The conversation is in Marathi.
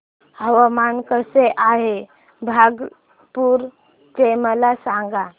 हवामान कसे आहे भागलपुर चे मला सांगा